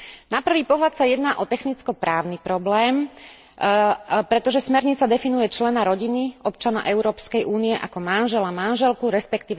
Na prvý pohľad sa jedná o technicko právny problém, pretože smernica definuje člena rodiny, občana Európskej únie ako manžela manželku, resp.